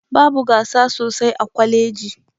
Babu gasa sosai a kwaleji